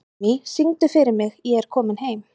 Emmý, syngdu fyrir mig „Ég er kominn heim“.